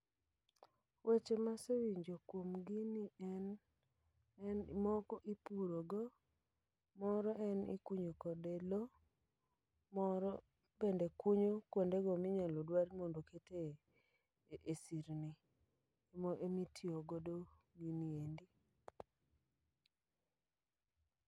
Weche mase winjo kuom gini en moko ipurogo, moro en ikunyo kode lo. Moro bende kunyo kuonde go minyalo dwar mondo okete e sirni emi tiyogodo gini endi.